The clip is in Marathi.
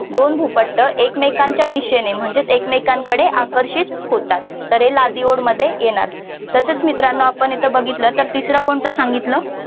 दोन भूपट्ट एकमेकांच्या दिशेने म्हणजेच एकमेकांकडे आकर्षित होतात. तर हे लादी ओढ मध्ये येणार तसेच मित्रांनो आपण येथे बघितलं कि तिसरं कोणत सांगितलं